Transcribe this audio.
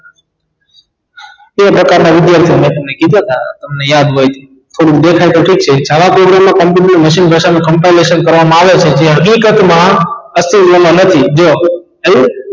તે પ્રકાર ના વિધાર્થી મૈં તમને કીધા હતા યાદ હોય થોડું દેખાઈ તો ઠીક છે જાવા મા company મશીન ઘસારો campisetion કરવામાં આવે તો તે હકીકત માં અસ્તિત્વ માં નથી જો આવ્યું